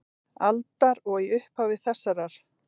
aldar og í upphafi þessarar.